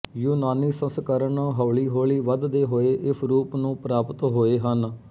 ਯੂਨਾਨੀ ਸੰਸਕਰਣ ਹੌਲੀ ਹੌਲੀ ਵਧਦੇ ਹੋਏ ਇਸ ਰੂਪ ਨੂੰ ਪ੍ਰਾਪਤ ਹੋਏ ਹਨ